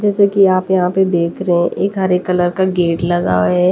जैसा कि आप यहां पे देख रहे हैं एक हरे कलर का गेट लगा हुआ है।